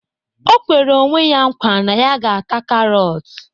O kwere onwe ya nkwa na ya ga na-ata karọt